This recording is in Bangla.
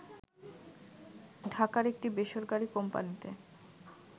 ঢাকার একটি বেসরকারী কোম্পানীতে